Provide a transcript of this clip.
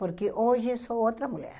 Porque hoje sou outra mulher.